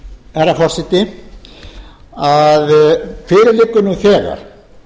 herra forseti að fyrir liggur nú þegar